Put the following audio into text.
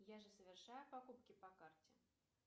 я же совершаю покупки по карте